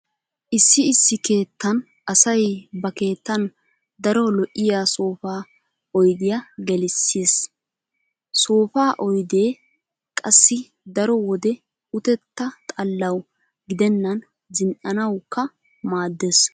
Issi issi keettan asay ba keettan daro lo'iya soofa oydiya gelissees. Soofa oydee qassi daro wode utetta xallawu gidennan zin"uwawukka maaddees.